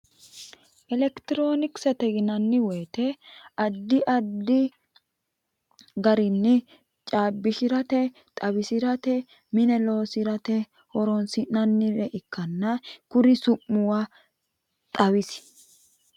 elekitiroonikisete yinanni woyiite addi addi garinni caabbishirate xawisirate mine loosirate horoonsi'nannire ikkanna kuri su'muwa xawisi.